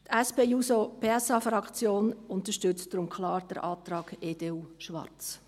Die SP-JUSO-PSA-Fraktion unterstützt deshalb klar den Antrag EDU/Schwarz.